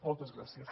moltes gràcies